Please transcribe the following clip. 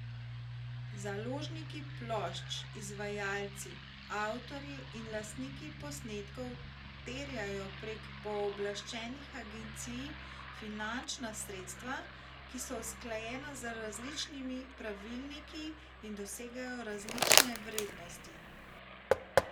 Založniki plošč, izvajalci, avtorji in lastniki posnetkov terjajo prek pooblaščenih agencij finančna sredstva, ki so usklajena z različnimi pravilniki in dosegajo različne vrednosti.